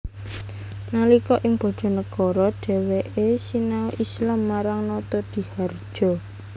Nalika ing Bojonegoro dheweke sinau Islam marang Notodihardjo